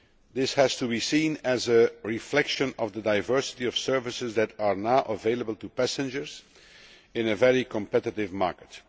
This has to be seen as a reflection of the diversity of services that are now available to passengers in a very competitive market.